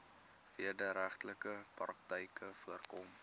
wederregtelike praktyke voorkom